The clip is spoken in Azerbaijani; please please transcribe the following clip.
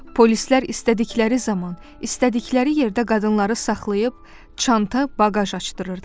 Polislər istədikləri zaman, istədikləri yerdə qadınları saxlayıb çanta, baqaj açdırırdılar.